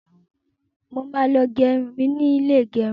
Mo máa lọ gẹ irun ni ilé ìgẹrun.